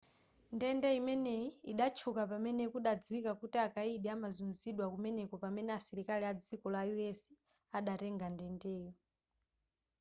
ndende imeneyi idatchuka pamene kudadziwika kuti akayidi amazuzidwa kumeneko pamene asilikali adziko la us adatenga ndendeyo